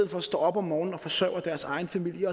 for står op om morgenen og forsørger deres egen familie